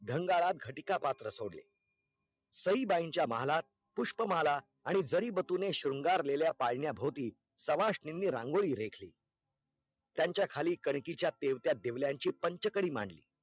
घंगारात घटीका पात्र सोडले सईबाईच्या महालात पुष्प माला आणि जरी बतूने शृंगारलेल्या पाळण्या भोवती शवासनीनी रंगोली रेखली त्यांचा खाली कणकीच्या तेवत्या देव्ल्यांची पंच कडी मांडली